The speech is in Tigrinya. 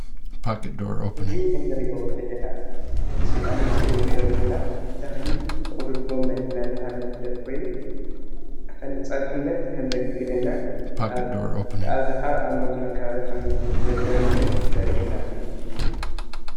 እዙይ ኣብ ምስሊ እንርእዮ ዘለና ተክሊ ጥቅሉል ጎም እናተባህለ ዝፍለጥ ኮይኑ ከም ንፀብሕነት ከም ዘግልግለና ብኣብዛሓ ኣብ መስኖ አከባቢ ከምዝለምዕን ዘርእየና እዩ።